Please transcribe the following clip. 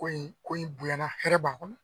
Ko in ko in bonyana hɛrɛ b'a kɔnɔ.